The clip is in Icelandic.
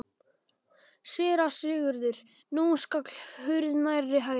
SÉRA SIGURÐUR: Nú skall hurð nærri hælum.